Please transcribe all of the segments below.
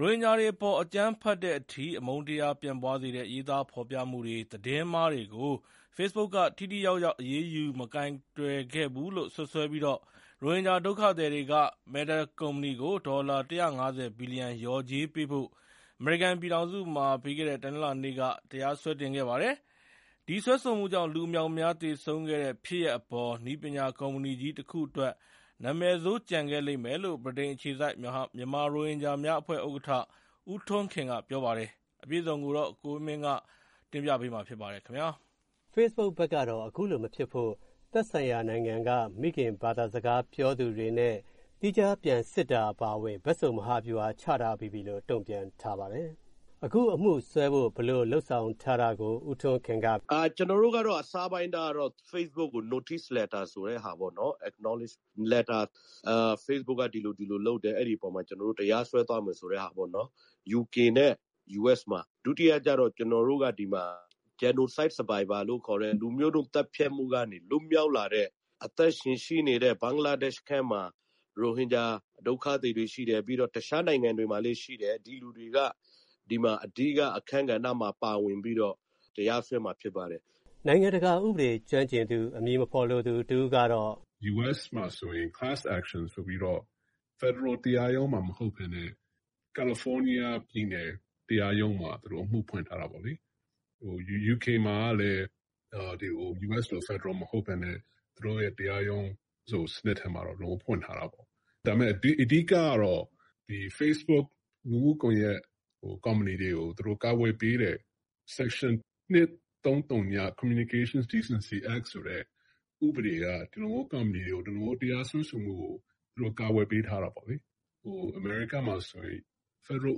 ရိုဟင်ဂျာတွေအပေါ် အကြမ်းဖက်တဲ့အထိ အမုန်းတရားတွေ ပြန့်ပွားစေတဲ့ ရေးသားဖော်ပြမှုတွေ၊ သတင်းမှားတွေကို ဖေ့စ်ဘုတ်က ထိထိရောက်ရောက် အရေးယူ မကိုင်တွယ်ခဲ့ဘူးလို့ စွပ်စွဲပြီး ရိုဟင်ဂျာ ဒုက္ခသည်တွေက Meta ကုမ္ပဏီကို ဒေါ်လာ ၁၅၀ ဘီလျံ လျော်ကြေးပေးဖို့ အမေရိကန်ပြည်ထောင်စုမှာ ပြီးခဲ့တဲ့ တနင်္လာနေ့က တရားစွဲတင်ခဲ့ပါတယ်။ ဒီစွဲဆိုမှုကြောင့် လူအမြောက်အမြား သေဆုံးခဲ့တဲ့ ဖြစ်ရပ်အပေါ် နည်းပညာကုမ္ပဏီကြီး တခုအတွက် နာမည်ဆိုး ကျန်ခဲ့လိမ့်မယ်လို့ ဗြိတိန်အခြေစိုက် မြန်မာရိုဟင်ဂျာများအဖွဲ့ ဥက္ကဋ္ဌ ဦးထွန်းခင်က ပြောပါတယ်။ ကိုဝင်းမင်းက ဆက်သွယ်မေးမြန်း တင်ပြထားပါတယ်။ ဖေ့စ်ဘုတ်ဘက်ကတော့ အခုလိုမဖြစ်ဖို့ သက်ဆိုင်ရာနိုင်ငံက မိခင်ဘာသာစကား ပြောသူတွေနဲ့ သီးခြားပြန်စစ်တာ အပါအဝင် ဘက်စုံ မဟာဗျူဟာ ချထားပြီးပြီလို့ တုံ့ပြန်ထားပါတယ်။ အခုအမှုစွဲဖို့ ဘယ်လိုလုပ်ဆောင်ထားတာကို ဦးထွန်းခင်က အခုလိုပြောပါတယ်။ “ကျနော်တို့ကတော့ အစပိုင်းကတော့ ဖေ့စ်ဘုတ်ကို Notice Letter ဆိုတဲ့ဟာပေါ့၊ Acknowledge Letter ဖေ့စ်ဘုတ်က ဒီလိုဒီလိုလုပ်တယ်၊ အဲဒီအပေါ်မှာ ကျနော်တို့ တရားစွဲသွားမယ်ဆိုတဲ့ဟာပေါ့။ UK နဲ့ US မှာ၊ ဒုတိယကျတော့ ကျနော်တို့က ဒီမှာ Genocide Survivor လို့ခေါ်တဲ့ လူမျိုးတုံး သတ်ဖြတ်မှုက လွတ်မြောက်လာတဲ့ အသက်ရှင်ရှိနေတဲ့ ဘင်္ဂလားဒေ့ရှ်ထဲမှာ ရိုဟင်ဂျာ ဒုက္ခသည်တွေရှိတယ်၊ ပြီးတော့ တခြားနိုင်ငံတွေမှာလည်း ရှိတယ်၊ ဒီလူတွေက ဒီမှာ အဓိက အခန်းကဏ္ဍမှာ ပါဝင်ပြီးတော့ တရားစွဲမှာ ဖြစ်ပါတယ်။” နိုင်ငံတကာဥပဒေ ကျွမ်းကျင်သူ အမည်မဖော်လိုသူ တဦးကတော့… “US မှာဆိုရင် Class Action ဆိုပြီးတော့ ဖက်ဒရယ်တရားရုံးမှာ မဟုတ်ဘဲနဲ့ ကယ်လီဖိုးနီးယားပြည်နယ် တရားရုံးမှာ သူတို့ အမှုဖွင့်ထားတာပေါ့လေ။ UK မှာကလည်း US လို ဖက်ဒရယ်မဟုတ်ဘဲနဲ့ သူတို့ရဲ့ တရားရုံးစနစ်ထဲမှာတော့ ဖွင့်ထားတာပေါ့။ ဒါပေမယ့် အဓိကတော့ ဖေ့စ်ဘုတ် လူမှုကွန်ရက် ကုမ္ပဏီတွေကို သူတို့ ကာကွယ်ပေးတဲ့ Section 230 Communication Decency Act ဆိုတဲ့ ဥပဒေက ဒီလိုမျိုး ကုမ္ပဏီတွေကို ဒီလိုမျိုး တရားစွဲဆိုမှုကို ကာကွယ်ပေးထားတာပေါ့လေ။ အမေရိကားမှာဆိုရင် ဖက်ဒရယ်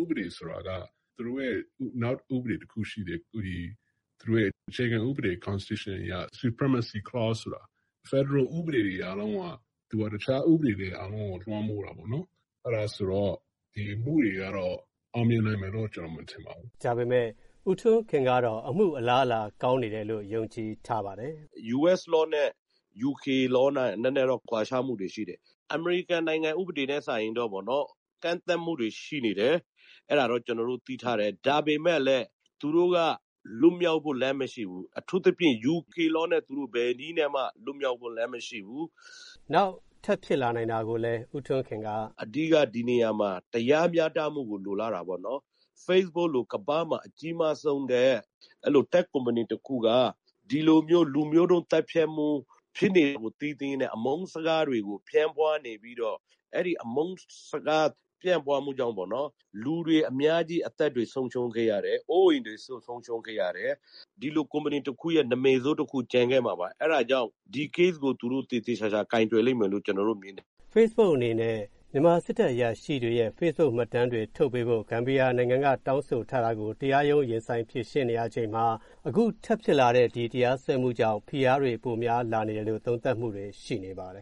ဥပဒေ ဆိုတာက သူတို့ရဲ့ နောက်ဥပဒေတခုရှိတယ်၊ သူတို့ရဲ့ အခြေခံဥပဒေ Constitution အရ Supremacy Clause ဆိုတာ ဖက်ဒရယ်ဥပဒေတွေ အားလုံးက သူက တခြားဥပဒေတွေ အားလုံးကို လွှမ်းမိုးတာပေါ့။ အဲဒါဆိုတော့ ဒီအမှုတွေကတော့ အောင်မြင်နိုင်မယ်လို့ ကျနော် မထင်ပါဘူး။” လို့ ပြောပါတယ်။ ဒါပေမယ့် ဦးထွန်းခင်ကတော့ အမှုအလားအလာ ကောင်းနေတယ်လို့ ယုံကြည်ထားပါတယ်။ “US Law နဲ့ UK Law နဲ့ နည်းနည်းတော့ ကွာခြားမှုတွေရှိတယ်။ အမေရိကန်နိုင်ငံ ဥပဒေနဲ့ စာရင်တော့ ကန့်သတ်မှုတွေ ရှိနေတယ်။ အဲဒါတော့ ကျနော်တို့ သိထားတယ်။ ဒါပေမယ့်လည်း သူတို့က လွတ်မြောက်ဖို့ လမ်းမရှိဘူး။ အထူးသဖြင့် UK Law နဲ့ သူတို့ ဘယ်နည်းနဲ့မှ လွတ်မြောက်ဖို့လမ်း မရှိဘူး။” နောက် ထပ်ဖြစ်လာနိုင်တာကိုလည်း ဦးထွန်းခင်က… “အဓိက ဒီနေရာမှာ တရားမျှတမှုကို လိုလားတာပေါ့။ ဖေ့စ်ဘုတ်လို ကမ္ဘာမှာ အကြီးမားဆုံးနဲ့ အဲ့လို တက်ခ်ကုမ္ပဏီတခုက ဒီလိုမျိုး လူမျိုးတုံးသတ်ဖြတ်မှု ဖြစ်နေတာကို သိသိကြီးနဲ့ အမုန်းစကားတွေကို ပြန့်ပွားနေပြီးတော့ အဲဒီအမုန်းစကား ပြန့်ပွားမှုကြောင့် လူတွေအများကြီး အသက်တွေ ဆုံးရှုံးခဲ့ရတယ်၊ အိုးအိမ်တွေ ဆုံးရှုံးခဲ့ရတယ်။ ဒီလိုကုမ္ပဏီတခုရဲ့ နာမည်ဆိုးတခု ကျန်ခဲ့မှာပါ။ အဲဒါကြောင့် ဒီ Case ကို သူတို့ သေသေချာချာ ကိုင်တွယ်လိမ့်မယ်လို့ ကျနော်တို့မြင်တယ်။” လို့ ပြောပါတယ်။ ဖေ့စ်ဘုတ်အနေနဲ့ မြန်မာစစ်တပ် အရာရှိတွေရဲ့ ဖေ့စ်ဘုတ်မှတ်တမ်းတွေ ထုတ်ပေးဖို့ ဂမ်ဘီယာနိုင်ငံက တောင်းဆိုထားတာကို တရားရုံး ရင်ဆိုင်ဖြေရှင်းနေရချိန်မှာ အခု ထပ်ဖြစ်လာတဲ့ ဒီတရားစွဲမှုကြောင့် ဖိအားတွေ ပိုများလာနေတယ်လို့ သုံးသပ်မှုတွေ ရှိနေပါတယ်